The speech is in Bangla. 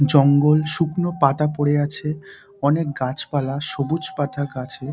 জঙ্গল শুকনো পাতা পড়ে আছে অনেক গাছপালা সবুজ পাতা গাছে।